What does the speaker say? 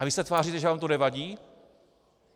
A vy se tváříte, že vám to nevadí?